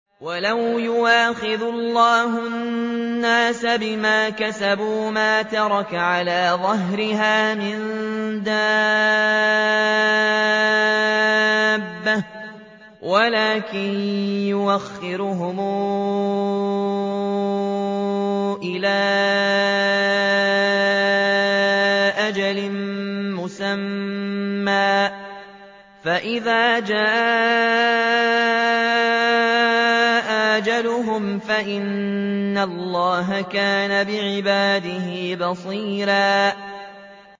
وَلَوْ يُؤَاخِذُ اللَّهُ النَّاسَ بِمَا كَسَبُوا مَا تَرَكَ عَلَىٰ ظَهْرِهَا مِن دَابَّةٍ وَلَٰكِن يُؤَخِّرُهُمْ إِلَىٰ أَجَلٍ مُّسَمًّى ۖ فَإِذَا جَاءَ أَجَلُهُمْ فَإِنَّ اللَّهَ كَانَ بِعِبَادِهِ بَصِيرًا